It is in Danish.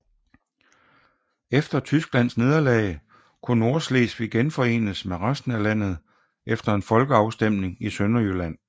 Efter Tysklands nederlag kunne Nordslesvig genforenes med resten af landet efter en folkeafstemning i Sønderjylland